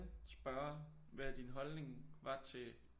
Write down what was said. Spørge hvad din holdning var til